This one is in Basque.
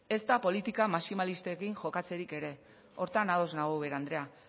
ezta politika maximalistekin jokatzerik ere horretan ados nago ubera andrea